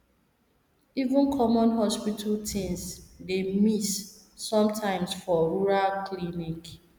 even common hospital things dey miss sometimes for rural clinic